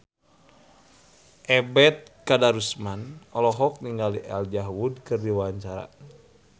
Ebet Kadarusman olohok ningali Elijah Wood keur diwawancara